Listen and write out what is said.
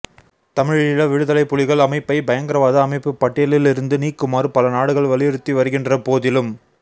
தமிழீழ விடுதலைப் புலிகள் அமைப்பை பயங்கரவாத அமைப்பு பட்டியலில் இருந்து நீக்குமாறு பல நாடுகள் வலியுறுத்தி வருகின்ற போதிலும்